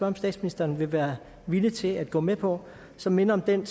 om statsministeren vil være villig til at gå med på som minder om den